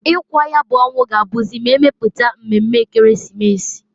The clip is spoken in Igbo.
Ikwa nya bu onwu ga-abuzi m'emeputa mmeme Ekeresimesi.